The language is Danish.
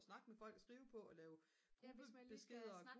snakke med folk skrive på og lave gruppebeskeder